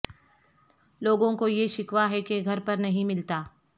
لوگوں کو یہ شکوہ ہے کہ گھر پر نہیں ملتا